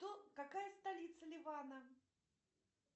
какая столица ливана